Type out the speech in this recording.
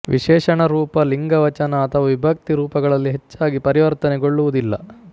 ವಿಶೇಷಣರೂಪ ಲಿಂಗ ವಚನ ಅಥವಾ ವಿಭಕ್ತಿ ರೂಪಗಳಲ್ಲಿ ಹೆಚ್ಚಾಗಿ ಪರಿವರ್ತನೆಗೊಳ್ಳುವುದಿಲ್ಲ